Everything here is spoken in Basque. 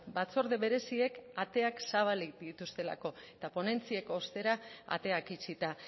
batzorde bereziek ateak zabalik dituztelako eta ponentziek ostera ateak itxita